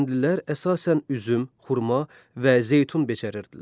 Kəndlilər əsasən üzüm, xurma və zeytun becərərdilər.